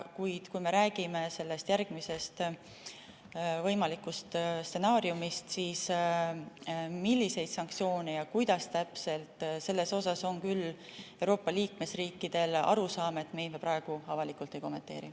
Kuid kui me räägime järgmisest võimalikust stsenaariumist, et millised sanktsioonid ja kuidas täpselt, siis selles on küll Euroopa liikmesriikidel arusaam, et neid me praegu avalikult ei kommenteeri.